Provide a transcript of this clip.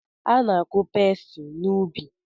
Ana-akụ pesi n’ubi?